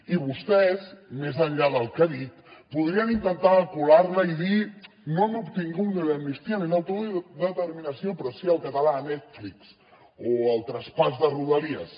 i vostès més enllà del que ha dit podrien intentar colar la i dir no hem obtingut ni l’amnistia ni l’autodeterminació però sí el català a netflix o el traspàs de rodalies